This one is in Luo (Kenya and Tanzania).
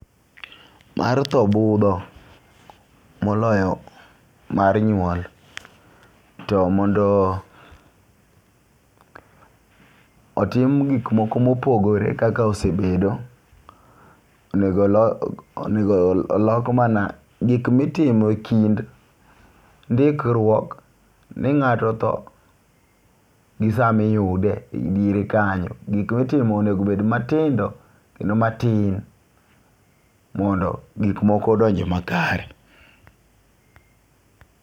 Mar tho budho moloyo mar nyuol. To mondo otim gik moko mopogore kaka osebedo onego lo onego lok mana gik mitimo kind ndikruok ni ng'ato otho gi sami yude e diere kanyo. Gik mitimo onego bed matindo kendo matin mondo gik moko odonj makare.